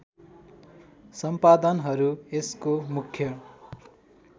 सम्पादनहरू यसको मुख्य